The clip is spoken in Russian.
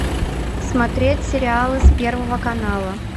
смотреть сериалы с первого канала